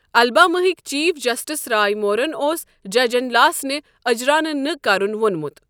الباماہکۍ chief justice Roy مورَن اوس ججَن لاسنہٕ اجرا نہٕ نہٕ كرن وونمت ۔